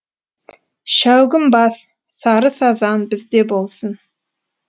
шәугім бас сары сазан бізде болсын